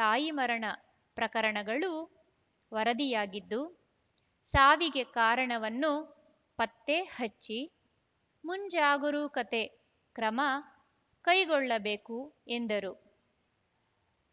ತಾಯಿ ಮರಣ ಪ್ರಕರಣಗಳು ವರದಿಯಾಗಿದ್ದು ಸಾವಿಗೆ ಕಾರಣವನ್ನು ಪತ್ತೆ ಹಚ್ಚಿ ಮುಂಜಾಗರೂಕತೆ ಕ್ರಮ ಕೈಗೊಳ್ಳಬೇಕು ಎಂದರು